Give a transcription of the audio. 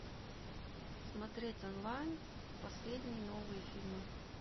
смотреть онлайн последние новые фильмы